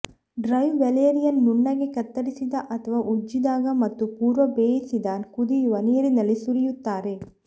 dry valerian ನುಣ್ಣಗೆ ಕತ್ತರಿಸಿದ ಅಥವಾ ಉಜ್ಜಿದಾಗ ಮತ್ತು ಪೂರ್ವ ಬೇಯಿಸಿದ ಕುದಿಯುವ ನೀರಿನಲ್ಲಿ ಸುರಿಯುತ್ತಾರೆ